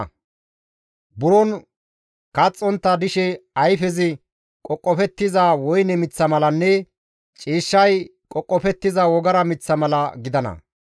Izi buron kaxxontta dishe ayfezi qoqofettiza woyne miththa malanne ciishshay qoqofettiza wogara miththa mala gidana.